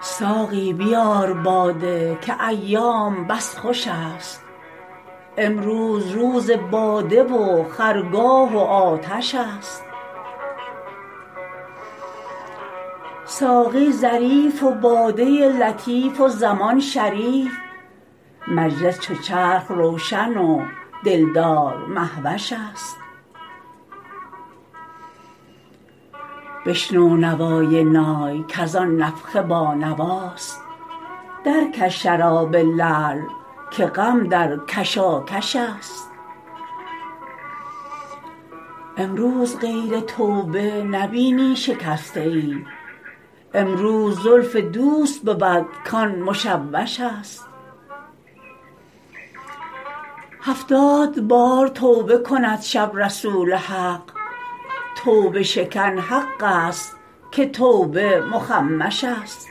ساقی بیار باده که ایام بس خوشست امروز روز باده و خرگاه و آتش است ساقی ظریف و باده لطیف و زمان شریف مجلس چو چرخ روشن و دلدار مهوش است بشنو نوای نای کز آن نفخه بانواست درکش شراب لعل که غم در کشاکش است امروز غیر توبه نبینی شکسته ای امروز زلف دوست بود کان مشوش است هفتاد بار توبه کند شب رسول حق توبه شکن حق است که توبه مخمش است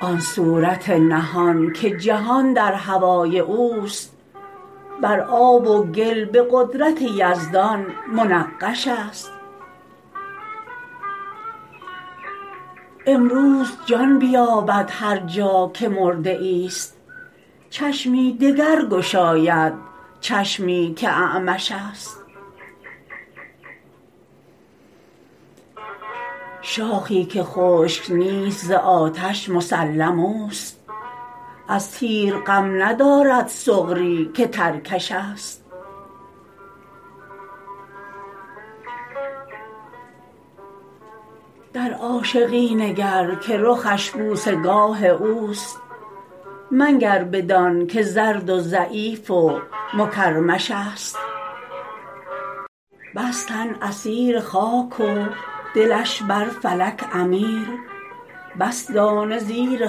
آن صورت نهان که جهان در هوای او است بر آب و گل به قدرت یزدان منقش است امروز جان بیابد هر جا که مرده ای است چشمی دگر گشاید چشمی که اعمش است شاخی که خشک نیست ز آتش مسلم است از تیر غم ندارد سغری که ترکش است در عاشقی نگر که رخش بوسه گاه او است منگر بدانک زرد و ضعیف و مکرمش است بس تن اسیر خاک و دلش بر فلک امیر بس دانه زیر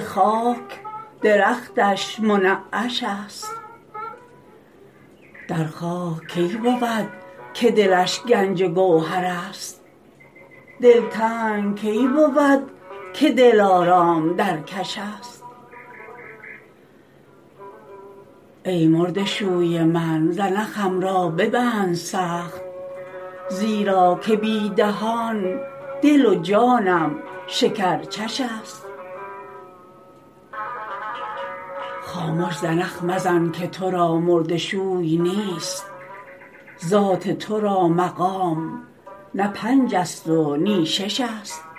خاک درختش منعش است در خاک کی بود که دلش گنج گوهر است دلتنگ کی بود که دلارام در کش است ای مرده شوی من زنخم را ببند سخت زیرا که بی دهان دل و جانم شکرچش است خامش زنخ مزن که تو را مرده شوی نیست ذات تو را مقام نه پنج است و نی شش است